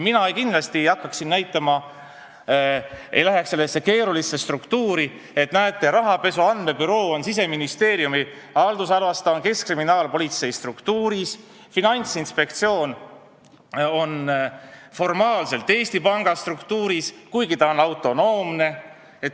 Mina kindlasti ei hakkaks rääkima sellest keerulisest struktuurist, et näete, rahapesu andmebüroo on Siseministeeriumi haldusalas, ta on keskkriminaalpolitsei struktuuris, Finantsinspektsioon on formaalselt Eesti Panga struktuuris, kuigi ta on autonoomne.